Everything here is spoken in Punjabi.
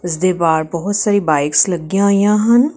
ਇਸਦੇ ਬਾਰ ਬਹੁਤ ਸਾਰੀ ਬਾਈਕਸ ਲੱਗੀਆਂ ਹੋਈਆਂ ਹਨ।